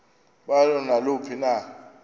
balo naluphi na